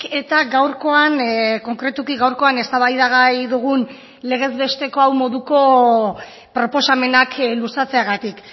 eta gaurkoan konkretuki gaurkoan eztabaidagai dugun legez besteko hau moduko proposamenak luzatzeagatik